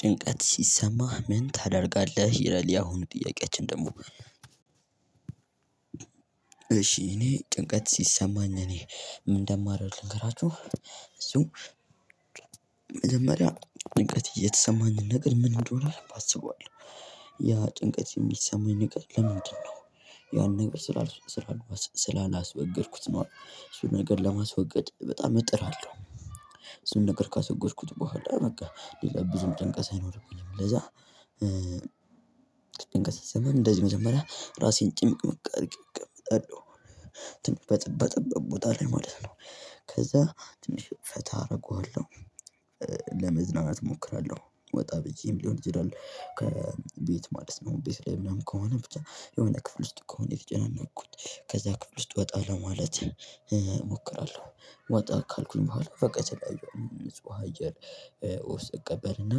ጭንቀት ሲሰማህ ምን ታደርጋለህ ይላል ያ አሁኑ ጥያቄያችን ደሞ? እሺ እኔ ጭንቀት ሲሰማኝ እኔ ምን እንደማደርግ ልንገራችሁ። እሱ መጀመሪያ ጭንቀት የተሰማኝ ነገር ምን እንደሆነ አስባለሁ። ያ ጭንቀት እሚሰማኝ ነገር ለምንድነው? ያን ነገር ስላላስወገድኩት ነው እሱን ነገር ለማስወገድ በጣም እጥራለሁ። እሱን ነገር ካስወገድኩት በኋላ በቃ ሌላ ብዙም ጭንቀት አይኖርብኝም ለዛ። ስንቀሳቀስም እንደዚሁ መጀመሪያ ራሴን ጭምቅምቅአድርጌ እቀመጣለሁ። በጠበጠበ ቦታ ላይ ማለት ነው። ከዛ ትንሽ ፈታ አርገዋለሁ። ለመዝናናት እሞክራለሁ ወጣ ብዬም ሊሆን ይችላል ከቤት ማለት ነው ቤት ላይ ምናምን ከሆነ ብቻ የሆነ ክፍል ውስጥ ከሆነ የተጨናነኩት። ከዛ ክፍል ውስጥ ወጣ ለማለት እሞክራለሁ ወጣ ካልኩኝ በኋላ ፈቀት የተለያዩ ንጹህ አየር። ውስጥ እቀበልና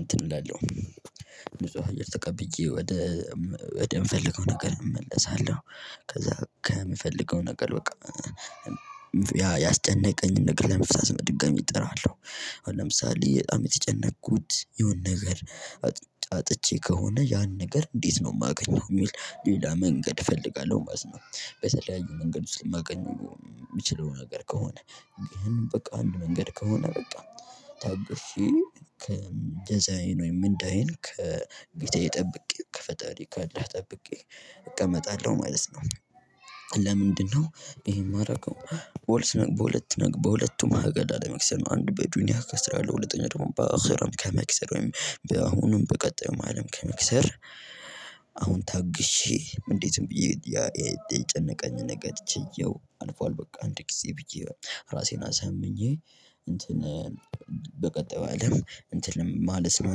እንትን እላለሁ። ንጹህ አየር ተቀብዬ ወደ ወደምፈልገው ነገር እመለሳለሁ። ከዛ ከምፈልገው ነገር በቃ ያ ያስጨነቀኝን ነገር ለመፍታት በድጋሚ እጥራለሁ። አሁን ለምሳሌ በጣም በተጨነቁት የሆነ ነገር። አጥቼ ከሆነ ያን ነገር እንዴት ነው እማገኘው እሚል ሌላ መንገድ እፈልጋለሁ። ማለት በተለያዩ መንገድ ውስጥ እማገኘው እሚችለው ነገር ከሆነ። ግን በቃ አንድ መንገድ ከሆነ በቃ በጣም ታግሼ ከእንደዛዬ ነው የምንዳየን ከቤቴ ጠብቄ ከፈጣሪ ካለህ ጠብቄ እቀመጣለሁ ማለት ነው። ለምንድነው? ይሄን እማደርገው ወልስ በሁለት በሁለቱም አገድ አለመክሰር ነው አንድ በዱንያ እከስራል ሁለተኛ ደግሞ በአህርም ከመክሰር ወይም በአሁኑም በቀጣዩም አለም ከመክሰር። አሁን ታግሼ እንዴትም ብዬ የጨነቀኝ ነገር ችዬው አልፏል በቃ አንድ ጊዜ ብዬ ራሴን አሳምኜ። እንትን በቀጣዩ አለም እንትን ማለት ነው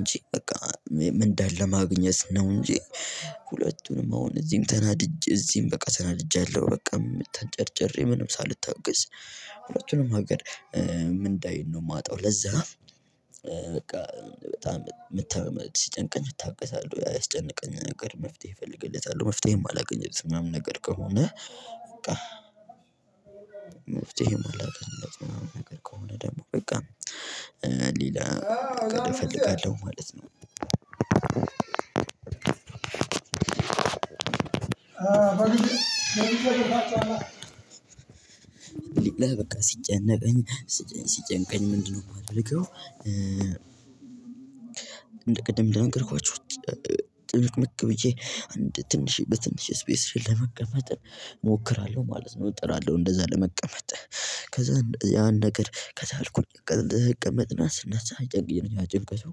እንጂ በቃ ምንዳለን ለማግኘት ነው እንጂ። ሁለቱንም አሁን እዚም ተናድጄ እዚም በቃ ተናድጃለሁ በቃ ተንጨርጭሬ ምንም ሳልታገስ። ሁለቱንም ነገር ምንዳዬን ነው እማጣው ለዛ በቃ በጣም መተማመድ ሲጨንቀኝ እታገሳለሁ። ያ ያስጨነቀኝ ነገር መፍትሄ እፈልግለታሉ መፍትሄ እማላገኝለት ምናምን ነገር ከሆነ። በቃ መፍትሄ እማላገኝለት ምናምን ነገር ከሆነ ደግሞ በቃ ሌላ እፈልጋለሁ ማለት ነው። ሌላ በቃ ሲጨነቅኝ ሲጨንቀኝ ምንድነው እማደርገው? እንደ ቅድም እንደነገርኳችሁ። ጭምቅምቅ ብዬ አንድ ትንሽ በትንሽ ስፔስ ለመቀመጥ እሞክራለሁ ማለት ነው እጥራለሁ እንደዛ ለመቀመጥ። ከዛ ያን ነገር ከቻልኩኝ ለመቀመጥ ስናሳ አይጨንቀኝም ያ ጭንቀቱ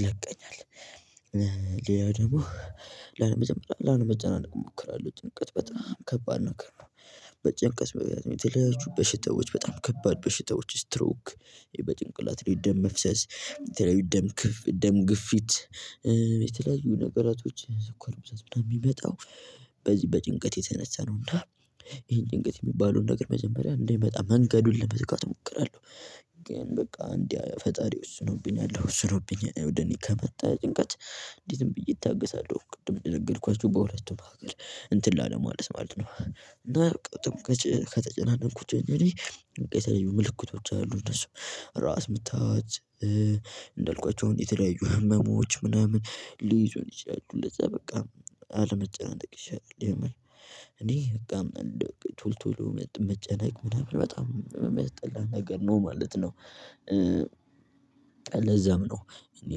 ይለቀኛል። ሌላ ደግሞ መጀመሪያ ላለመጨናነቅ እሞክራለሁ ጭንቀት በጣም ከባድ ነገር ነው። በጭንቀት በተለያየ በሽታዎች በጣም ከባድ በሽታዎች ስትሮክ በጭንቅላት ደም መፍሰስ። ደም ግፊት። የተለያዩ ነገራቶች ስኳር ብዛት ምናምን እሚመጣው በዚህ በጭንቀት የተነሳ ነውና። ይሄን ጭንቀት እሚባለውን ነገር መጀመሪያ እንዳይመጣ መንገዱን ለመዝጋት እሞክራለሁ። ግን በቃ እንዴ ፈጣሪ ወስኖብኛል ወስኖብኝ ወደ እኔ ከመጣ ጭንቀት እንዲህ ዝም ብዬ እታገሳለሁ። ቅድም እደነገርኳችህ በሁለቱም ነገር እንትን ላለማለት ማለት ነው እና ጭንቀት ከተጨናነንኩት እንግዲህ የተለዩ ምልክቶች አሉ እነሱ ራስ ምታት። እንዳልኳቸው የተለያዩ ህመሞች ምናምን ሊይዙኝ ይችላሉ ለዛ በቃ አለመጨናነቅ ይሻላል። የምር እኔ በቃ እንደውም ቶሎቶሎ መጨነቅ ምናምን በጣም እሚያስጠላ ነገር ነው ማለት ነው። ለዛም ነው እኔ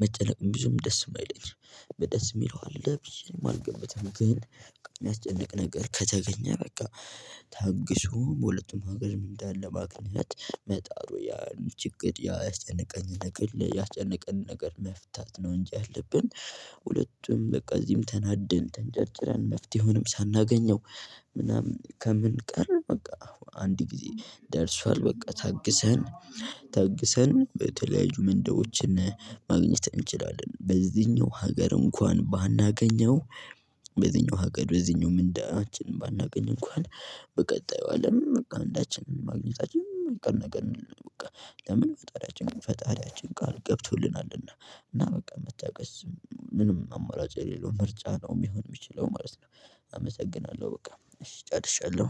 መጨነቅም ብዙም ደስ እማይለኝ በደስ እሚለው አለ ብዬ አልገባበትም ግን። እሚያስጨንቅ ነገር ከተገኘ በቃ ታግሶም በሁለቱም ሀገር ምንዳን ለማግኘት መጣሩ ያን ችግር ያስጨነቀንነ ነገር ያስጨነቀንን ነገር መፍታት ነው እንጂ ያለብን። ሁለቱም በቃ እዚህም ተናደን ተንጨርጭረን መፍትሄውንም ሳናገኘው። ምናምን ከምንቀር በቃ አንድ ጊዜ ደርሷል። በቃ ታግሰን ታግሰን በተለያዩ ምንዳዎችን ማግኘት እንችላለን። በዚህኛው ሀገር እንኳን ባናገኘው። በዚህኛው ሀገር በዚህኛው ምንዳችን ባናገኝ እንኳን በቀጣዩ አለም በቃ ምንዳችንን ማግኘታችን እማይቀር ነገር በቃ። ለምን ፈጣሪያችን ፈጣሪያችን ቃል ገብቶልናልና እና በቃ መታገስ ምንም አማራጭ የሌለው ምርጫ ነው ለሆን እሚችለው ማለት ነው። አመሰግናለሁ በቃ ጨርሻለሁ።